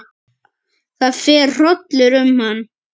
Það fer hrollur um hann.